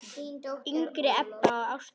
yngri Ebba og Ástþór.